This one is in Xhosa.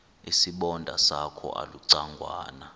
isibonda sakho ulucangwana